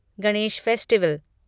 Ganesh festival